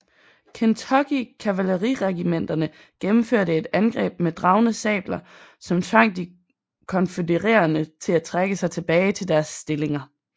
Kentucky kavaleriregimenterne gennemførte et angreb med dragne sabler som tvang de konfødererede til at trække sig tilbage til deres stillinger